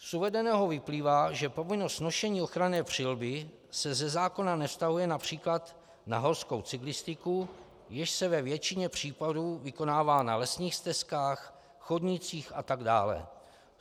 Z uvedeného vyplývá, že povinnost nošení ochranné přilby se ze zákona nevztahuje například na horskou cyklistiku, jež se ve většině případů vykonává na lesních stezkách, chodnících atd.